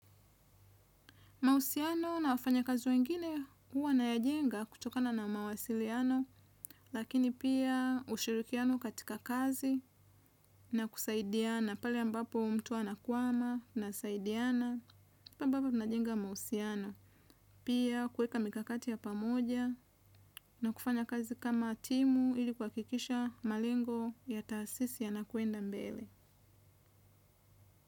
Mahusiano na wafanyakazi wengine huwa nayajenga kutokana na mawasiliano, lakini pia ushirikiano katika kazi na kusaidiana, pale ambapo mtu anakwama nasaidiana, pia ambapo najenga mahusiano, pia kueka mikakati ya pamoja na kufanya kazi kama timu ili kuhakikisha malengo ya taasisi yanakwenda mbele.